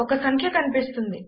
ఒక సంఖ్య కనిపిస్తుంది